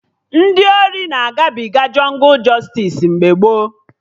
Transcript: Ndị ori na-agabiga jọngụ jọstis mgbe gboo